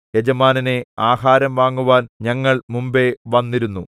യജമാനനേ ആഹാരം വാങ്ങുവാൻ ഞങ്ങൾ മുമ്പെ വന്നിരുന്നു